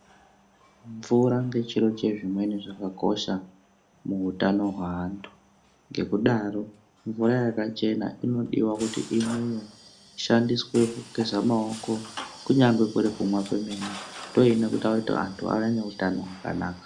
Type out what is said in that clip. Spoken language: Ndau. Mvura ngechiro chezvimweni chezviro zvakakosha muutano hweanhu ngekudaro mvura yakachena inodiwa kuti imwiwe ishandiswe kugeza maoko kunyange kurikumwa kwemene ndoinoita kuti vanhu vange neutano hwakanaka